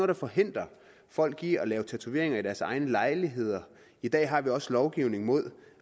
der forhindrer folk i at lave tatoveringer i deres egne lejligheder i dag har vi også lovgivning mod